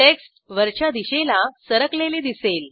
text वरच्या दिशेला सरकलेले दिसेल